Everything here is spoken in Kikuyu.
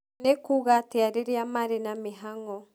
nĩ kuuga atĩa rĩrĩa marĩ na mĩhang'o